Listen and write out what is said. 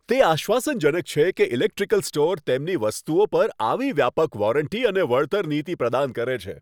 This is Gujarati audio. તે આશ્વાસનજનક છે કે ઇલેક્ટ્રિકલ સ્ટોર તેમની વસ્તુઓ પર આવી વ્યાપક વોરંટી અને વળતર નીતિ પ્રદાન કરે છે.